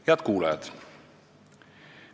Head kuulajad!